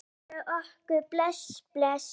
Geir OK bless, bless.